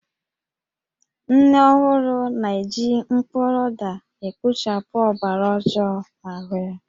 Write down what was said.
Nne ọhụrụ na-eji mkpụrụ ụda ekpochapụ ọbara ọjoo n'ahụ ya